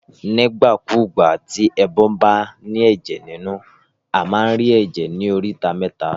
Nígbà kúgbà tí ẹbọ ba ní èjè nínú, a ma rí èjè ní oríta méta